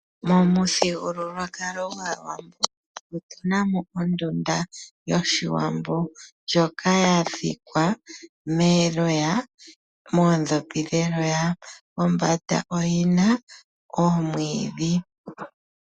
Momuthigululwakalo gwaawambo otunamo ondunda yoshiwambo ndjoka ya thikwa noodhopi dheloya, pombanda oyina omwiidhi.